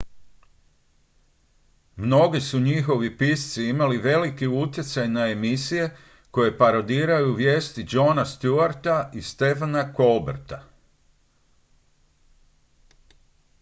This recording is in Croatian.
mnogi su njihovi pisci imali velik utjecaj na emisije koje parodiraju vijesti jona stewarta i stephena colberta